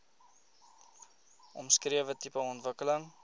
omskrewe tipe ontwikkeling